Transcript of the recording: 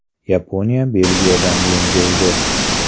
Yaponiya Belgiyadan yengildi.